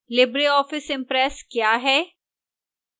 libreoffice impress क्या है